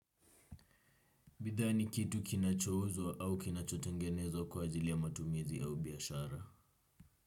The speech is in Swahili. Bidhaa ni kitu kinachouzwa au kinachotengenezwa kwa ajili ya matumizi au biashara.